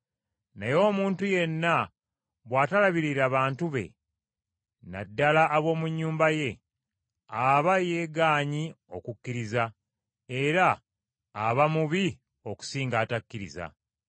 Naye omuntu yenna bw’atalabirira bantu be, na ddala ab’omu nnyumba ye, aba yeegaanyi okukkiriza, era aba mubi okusinga atakkiriza.